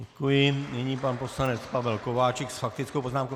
Děkuji, nyní pan poslanec Pavel Kováčik s faktickou poznámkou.